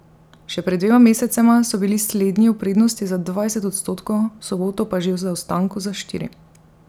Še pred dvema mesecema so bili slednji v prednosti za dvajset odstotkov, v soboto pa že v zaostanku za štiri.